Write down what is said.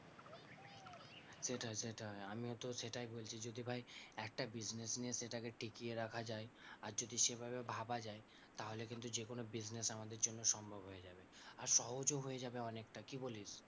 সেটাই সেটাই আমিও তো সেটাই বলছি যদি ভাই একটা business নিয়ে সেটাকে টিকিয়ে রাখা যায় আর যদি সেভাবে ভাবা যায়, তাহলে কিন্তু যেকোনো business আমাদের জন্য সম্ভব হয়ে যাবে আর সহজও হয়ে যাবে অনেকটা, কি বলিস?